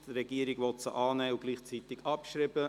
Die Regierung will sie annehmen und gleichzeitig abschreiben.